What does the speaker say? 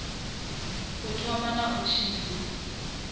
u thoma na u tshimbidza